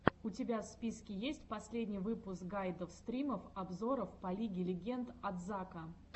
у тебя в списке есть последний выпуск гайдов стримов обзоров по лиге легенд от зака